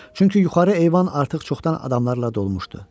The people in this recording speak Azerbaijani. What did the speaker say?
Çünki yuxarı eyvan artıq çoxdan adamlarla dolmuşdu.